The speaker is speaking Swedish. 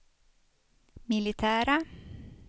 militära